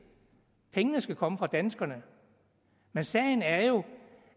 pengene skal komme fra danskerne men sagen er jo